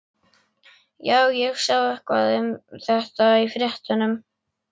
Já, ég sá eitthvað um þetta í fréttunum.